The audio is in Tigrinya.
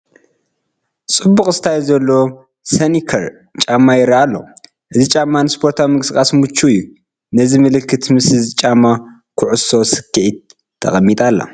ፅቡቕ ስታይል ዘለዎ ስኒከር ጫማ ይርአ ኣሎ፡፡ እዚ ጫማ ንስፖርታዊ ምንቅስቓስ ምቹው እዩ፡፡ ነዚ ምልክት ምስዚ ጫማ ኩዕሶ ሰክዔት ተቐሚጣ ኣላ፡፡